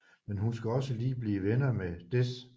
Men hun skal også lige blive venner med Dez